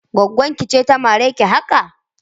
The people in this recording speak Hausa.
Gwaggon ki ce ta mare ki haka?